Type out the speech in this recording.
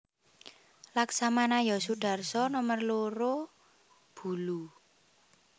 Laksamana yos Sudarso nomer loro Bulu